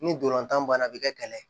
Ni dolantan banna a bɛ kɛ kɛlɛ ye